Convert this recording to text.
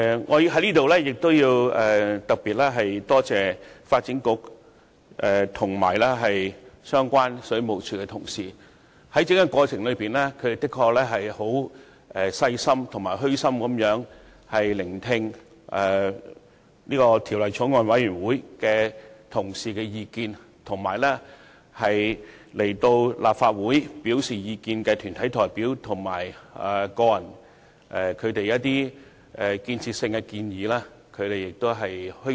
我要在此特別感謝發展局和水務署的相關官員，在審議《條例草案》的整個過程中，他們十分細心和虛心地聆聽法案委員會委員的意見，以及來到立法會表達意見的團體代表和個人所作出具建設性的建議。